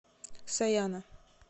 сояна